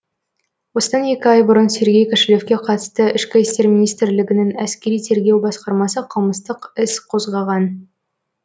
осында екі ай бұрын сергей кошелевке қатысты ішкі істер министрлігінің әскери тергеу басқармасы қылмыстық іс қозғаған